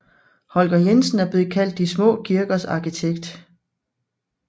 Holger Jensen er blevet kaldt de små kirkers arkitekt